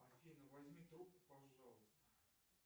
афина возьми трубку пожалуйста